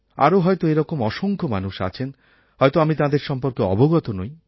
আরও হয়ত এরকম অসংখ্য মানুষ আছেন হয়তো আমি তাঁদের সম্পর্কে অবগত নই